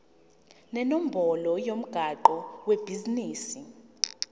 nenombolo yomgwaqo webhizinisi